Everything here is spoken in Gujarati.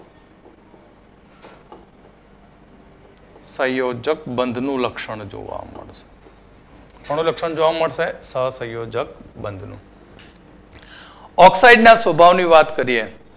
સંજોયક બંધનું લક્ષણ જોવા મળશે. કયું લક્ષણ જોવા મળશે સહસંયોજક બંધનું oxide ના સ્વભાવની વાત કરીએ